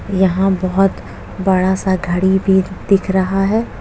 यहां बहोत बड़ा सा घड़ी भी दिख रहा है।